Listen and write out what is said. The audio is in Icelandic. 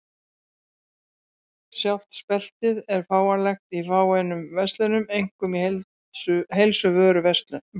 Sjálft speltið er fáanlegt í fáeinum verslunum, einkum í heilsuvörubúðum.